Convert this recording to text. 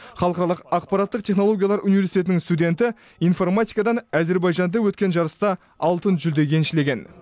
халықаралық ақпараттық технолологиялар университетінің студенті информатикадан әзербайжанда өткен жарыста алтын жүлде еншілеген